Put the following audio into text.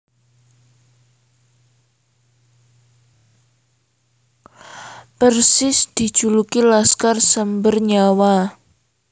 Persis dijuluki Laskar Samber Nyawa